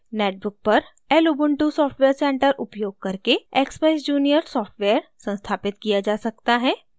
netbook पर lubuntu software center उपयोग करके expeyes junior सॉफ्टवेयर संस्थापित किया जा सकता है